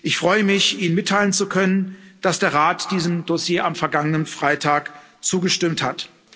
Ich freue mich, Ihnen mitteilen zu können, dass der Rat diesem Dossier am vergangenen Freitag zugestimmt hat.